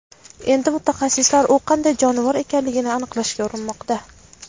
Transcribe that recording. Endi mutaxassislar u qanday jonivor ekanligini aniqlashga urinmoqda.